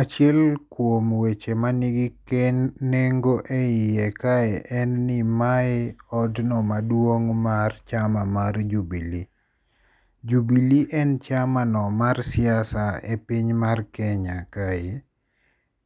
Achiel kuom weche manigi nengo e iye kae en ni mae odno maduong' mar chama mar Jubilee. Jubilee en chamano mar siasa e piny mar Kenya kae,